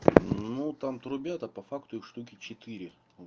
ну там трубят а по факту их штуки четыре